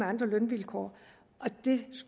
andre lønvilkår og jeg